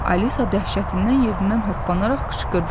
Alisa dəhşətindən yerindən hoppanaraq qışqırdı.